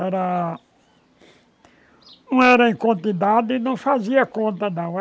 Era... Não era em quantidade e não fazia conta não.